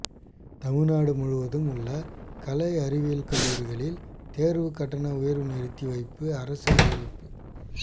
தமிழ்நாடு முழுவதும் உள்ள கலை அறிவியல் கல்லூரிகளில் தேர்வுக்கட்டண உயர்வு நிறுத்தி வைப்பு அரசு அறிவிப்பு